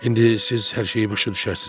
İndi siz hər şeyi başa düşərsiz.